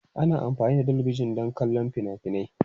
Ana amfani da talabijin don kallon fina-finai.